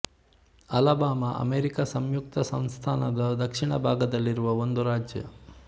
Alabama America ಸಂಯುಕ್ತ ಸಂಸ್ಥನದ ದಕ್ಷಿಣ ಭಾಗದಲ್ಲಿರುವ ಒಂದು ರಾಜ್ಯ